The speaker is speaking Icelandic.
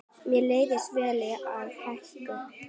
Mér leist vel á Hauka.